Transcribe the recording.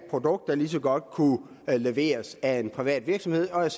produkt der lige så godt kunne leveres af en privat virksomhed og jeg